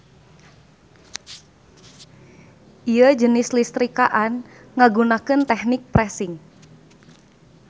Ieu jenis istrikaan ngagunakeun tehnik pressing.